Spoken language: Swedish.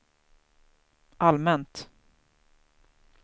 allmänt